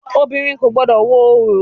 Obìnrin kò gbọdọ̀ wo orò!